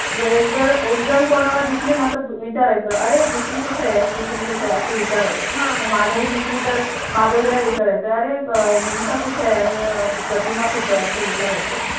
एक जण, एक जण कोणाला दिसली ना तर विचारायचं अरे, दुसरी कुठे? तिसरी कुठे? अस विचारायच जर माधवी दिसली तर माधवी ला विचारायचं अरे अह विनिता कुठ आहे? आरणि अह प्रतिमा कुठ आहे? असं विचारायचे.